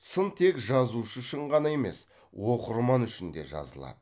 сын тек жазушы үшін ғана емес оқырман үшін де жазылады